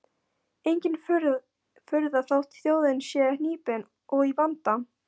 Engin furða þótt þjóðin sé hnípin og í vanda.